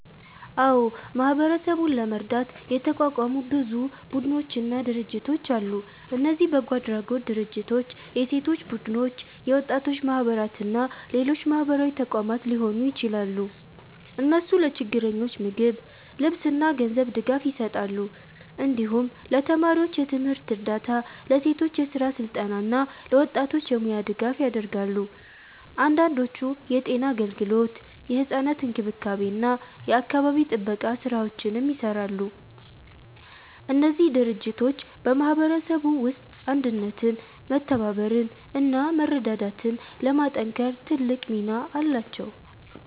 አዎ፣ ማህበረሰቡን ለመርዳት የተቋቋሙ ብዙ ቡድኖችና ድርጅቶች አሉ። እነዚህ በጎ አድራጎት ድርጅቶች፣ የሴቶች ቡድኖች፣ የወጣቶች ማህበራት እና ሌሎች ማህበራዊ ተቋማት ሊሆኑ ይችላሉ። እነሱ ለችግረኞች ምግብ፣ ልብስ እና ገንዘብ ድጋፍ ይሰጣሉ። እንዲሁም ለተማሪዎች የትምህርት እርዳታ፣ ለሴቶች የስራ ስልጠና እና ለወጣቶች የሙያ ድጋፍ ያደርጋሉ። አንዳንዶቹ የጤና አገልግሎት፣ የሕፃናት እንክብካቤ እና የአካባቢ ጥበቃ ስራዎችንም ይሰራሉ። እነዚህ ድርጅቶች በማህበረሰቡ ውስጥ አንድነትን፣ መተባበርን እና መረዳዳትን ለማጠናከር ትልቅ ሚና አላቸው።